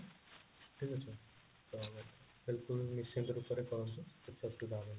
ଠିକ ଅଛି ତ helpful ତ ନିଶ୍ଚିନ୍ତ ରୂପରେ କରୁଛି